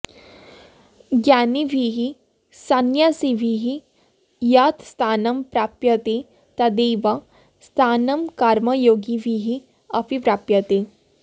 ज्ञानिभिः सन्न्यासिभिः यत् स्थानं प्राप्यते तदेव स्थानं कर्मयोगिभिः अपि प्राप्यते